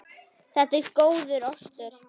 Þetta er góður ostur.